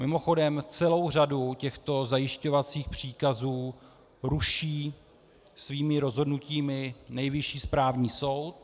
Mimochodem, celou řadu těchto zajišťovacích příkazů ruší svými rozhodnutími Nejvyšší správní soud.